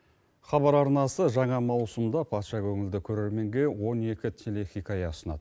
хабар арнасы жаңа маусымда патша көңілді көрерменге он екі телехикая ұсынады